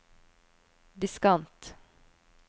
diskant